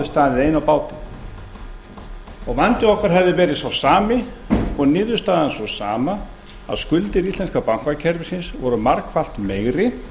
staðið ein á báti vandi okkar hefði verið sá sami og niðurstaðan sú sama að skuldir íslenska bankakerfisins voru margfalt meiri